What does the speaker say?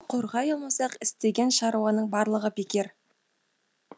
қорғай алмасақ істеген шаруаның барлығы бекер